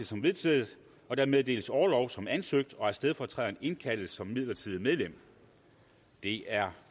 som vedtaget at der meddeles orlov som ansøgt og at stedfortræderen indkaldes som midlertidigt medlem det er